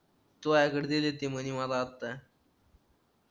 तुझ्याकडे दिलेत ते म्हणे मला आत्ता